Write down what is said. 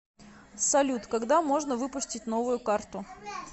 салют когда можно выпустить новую карту